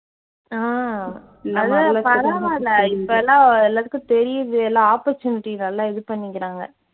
ஆஹ் அதான் பரவாயில்லை இப்பெல்லாம் எல்லாத்துக்கும் தெரியுது எல்லா opportunity நல்லா இது பண்ணிக்கிறாங்க.